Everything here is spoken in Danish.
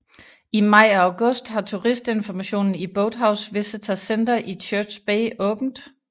I maj og august har turistinformationen i Boathouse Visitor Center i Church Bay åbent